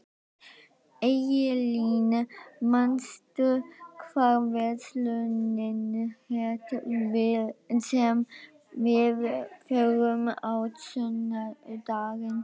Eylín, manstu hvað verslunin hét sem við fórum í á sunnudaginn?